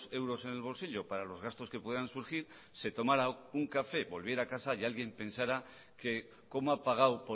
euros en el bolsillo para los gastos que puedan surgir se tomara un café volviera a casa y alguien pensara que cómo ha pagado